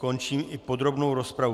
Končím i podrobnou rozpravu.